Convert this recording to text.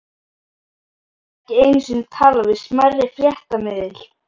Viltu ekki einu sinni tala við smærri fréttamiðil?